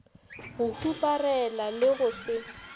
go huparela le go se